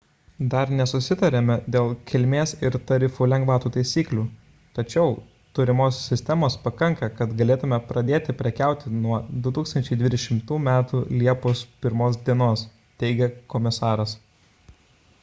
dar nesusitarėme dėl kilmės ir tarifų lengvatų taisyklių tačiau turimos sistemos pakanka kad galėtume pradėti prekiauti nuo 2020 m liepos 1 d teigė komisaras